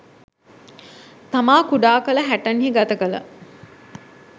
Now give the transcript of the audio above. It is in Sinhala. තමා කුඩා කල හැටන් හි ගත කළ